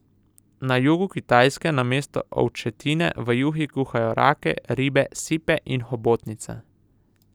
Na jugu Kitajske namesto ovčetine v juhi kuhajo rake, ribe, sipe in hobotnice.